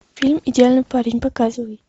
фильм идеальный парень показывай